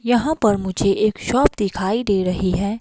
यहां पर मुझे एक शॉप दिखाई दे रही है।